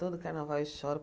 Todo carnaval eu choro.